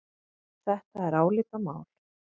Þetta er álitamál.